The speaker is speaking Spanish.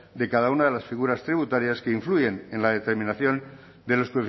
de cada una de las figuras tributarias que influyen en la determinación de los